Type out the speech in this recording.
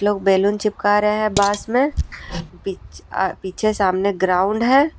लोग बैलून चिपका रहे हैं बांस में पीछे सामने ग्राउंड है।